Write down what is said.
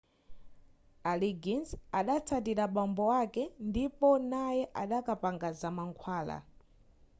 a liggins adatsatira bambo ake ndipo naye adakapanga zamankhwala